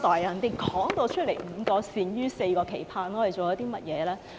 夏主任已說明"五個善於"、"四個期盼"，我們做了甚麼呢？